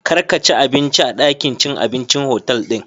kar ka ci abinci a dakin cin abincin otal din.